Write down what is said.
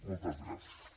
moltes gràcies